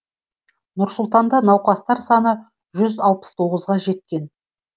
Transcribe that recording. нұр сұлтанда науқастар саны жүз алпыс тоғызға жеткен